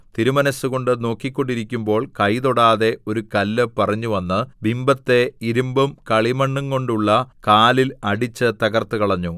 തിരുമനസ്സുകൊണ്ട് നോക്കിക്കൊണ്ടിരിക്കുമ്പോൾ കൈ തൊടാതെ ഒരു കല്ല് പറിഞ്ഞുവന്ന് ബിംബത്തെ ഇരിമ്പും കളിമണ്ണുംകൊണ്ടുള്ള കാലിൽ അടിച്ച് തകർത്തുകളഞ്ഞു